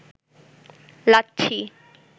lassi